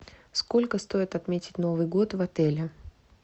сколько стоит отметить новый год в отеле